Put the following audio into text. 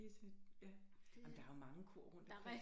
Det er sådan et ja jamen der er jo mange kor rundt omkring